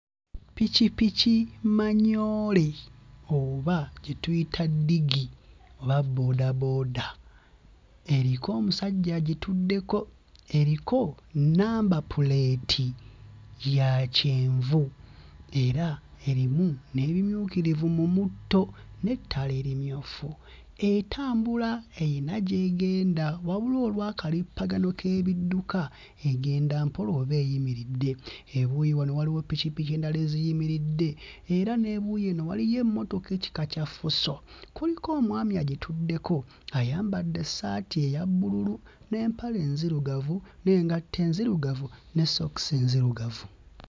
Ppikippiki manyoole oba gye tuyita ddigi oba boodabooda eriko omusajja agituddeko, eriko nnamba puleeti ya kyenvu era erimu n'ebimyukirivu mu mutto n'ettaala erimyufu, etambula eyina gy'egenda. Wabula olw'akalippagano k'ebidduka egenda mpola oba eyimiridde, ebuuyi wano waliwo ppikippiki endala eziyimiridde era n'ebuuyi eno waliyo emmotoka ekika kya Fuso kuliko omwami agituddeko ayambadde essaati eya bbululu n'empale enzirugavu n'engatto enzirugavu ne sookisi enzirugavu.